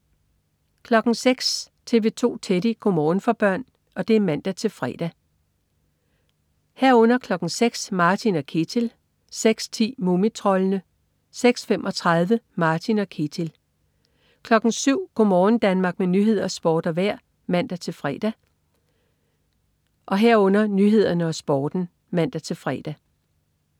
06.00 TV 2 Teddy. Go' morgen for børn (man-fre) 06.00 Martin og Ketil (man-fre) 06.10 Mumitroldene (man-fre) 06.35 Martin og Ketil (man-fre) 07.00 Go' morgen Danmark med nyheder, sport og vejr (man-fre) 07.00 Nyhederne og Sporten (man-fre)